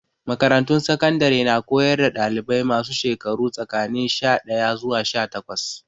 Makarantun sakandare na koyar da dalibai masu shekaru tsakanin sha daya zuwa sha takwas.